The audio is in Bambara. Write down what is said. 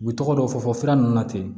U bɛ tɔgɔ dɔ fɔ fɔ sira ninnu na ten